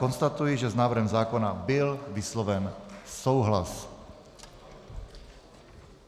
Konstatuji, že s návrhem zákona byl vysloven souhlas.